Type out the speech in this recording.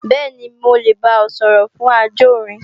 Bẹ́ẹ̀ni, mo lè bá ọ sọ̀rọ̀ fún ajórin